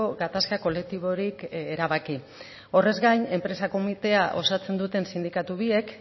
gatazka kolektiborik erabaki horrez gain enpresa komitea osatzen duten sindikatu biek